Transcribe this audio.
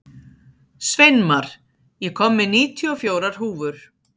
Sveinmar, ég kom með níutíu og fjórar húfur!